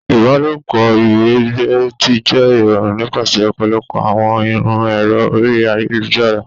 Ìbálòpọ̀ iwiregbe ti jẹ irọrun nipasẹ ọpọlọpọ awọn iru ẹrọ orí ayélujára.